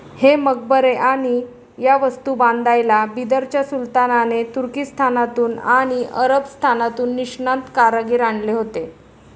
हे मक्बरे आणि या वस्तू बांधायला बिदरच्या सुलतानाने तुर्कीस्थानातून आणि अरबस्थानातून निष्णात कारागीर आणले होते.